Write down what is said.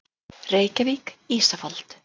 Reykjavík, Ísafold.